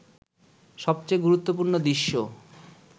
সবচেয়ে গুরুত্বপূর্ণ দৃশ্য